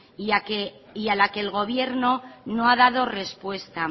y a la que el gobierno no ha dado respuesta